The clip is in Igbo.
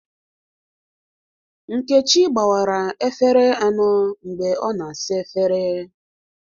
Nkechi gbawars efere anọ mgbe ọ na-asa efere